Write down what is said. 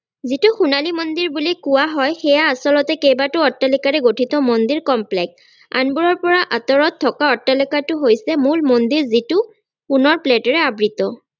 যিটো সোনালী মন্দিৰ বুলি কোৱা হয় সেয়া আচলতে কেইবাটাও অট্টালিকাৰে গঠিত মন্দিৰ complex আনবোৰৰ পৰা আতৰত থকা অট্টালিকাটো হৈছে মূল মন্দিৰ যিটো সোণৰ প্লেটেৰে আবৃত্ত